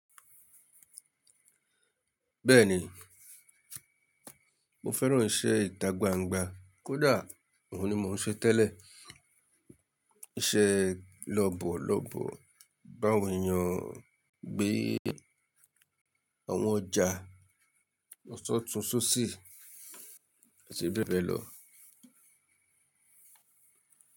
Bẹ́ẹ̀ni, mo fẹ́ràn iṣẹ́ ìtagbangba kódà òhun ni mò ń ṣe tẹ́lẹ̀. Iṣẹ́ lọ̀bọ̀ lọ̀bọ̀, báwọn èèyàn gbé àwọn ọjà, ọ̀sọ́ tun sosí èsì bẹ́bẹ́ lọ.